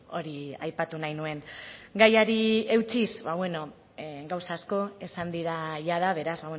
hori aipatu nahi nuen gaiari eutsiz ba beno gauza asko esan dira jada beraz